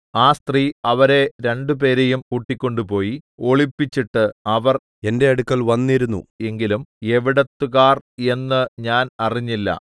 ആ സ്ത്രീ അവരെ രണ്ടുപേരെയും കൂട്ടിക്കൊണ്ടുപോയി ഒളിപ്പിച്ചിട്ട് അവർ എന്റെ അടുക്കൽ വന്നിരുന്നു എങ്കിലും എവിടത്തുകാർ എന്നു ഞാൻ അറിഞ്ഞില്ല